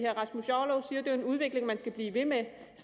rasmus jarlov siger jo at det er en udvikling man skal blive ved med